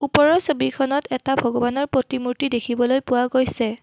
ওপৰৰ ছবিখনত এটা ভগবানৰ প্ৰতিমূৰ্তি দেখিবলৈ পোৱা গৈছে।